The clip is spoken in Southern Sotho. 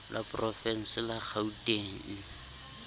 la porovense la kgauteng ke